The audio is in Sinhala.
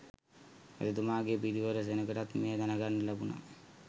රජතුමාගේ පිරිවර සෙනඟටත් මෙය දැනගන්න ලැබුණා.